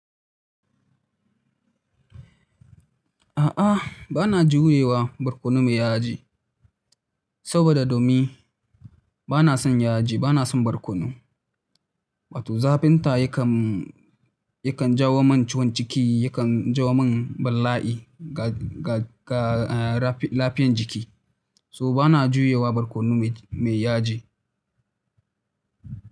A'a, ba na jurewa barkono mai yaji, saboda domin ba na son yaji, ba na son barkono. Wato zafinta yakan, yakan jawo min ciwon ciki, yakan jawo min bala'i ga, ga, ga, eh, lafiyan jiki. So ba na juyewa barkono mai, mai yaji.